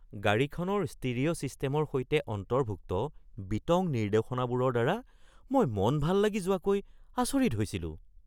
গাড়ীখনৰ ষ্টিৰিঅ' ছিষ্টেমৰ সৈতে অন্তৰ্ভুক্ত বিতং নিৰ্দেশনাবোৰৰ দ্বাৰা মই মন ভাল লাগি যোৱাগৈ আচৰিত হৈছিলোঁ।